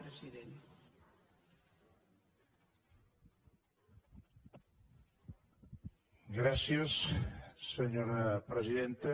gràcies senyora presidenta